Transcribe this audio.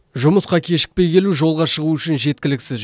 жұмысқа кешікпей келу жолға шығу үшін жеткіліксіз